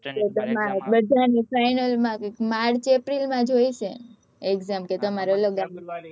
બધાની final માં જ March April માં જોઈએ છે exam કે તમારે અલગ આપવાની